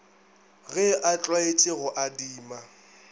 ge a tlwaetše go adima